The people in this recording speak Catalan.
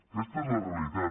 aquesta és la realitat